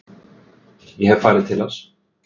Ég hef farið til hans.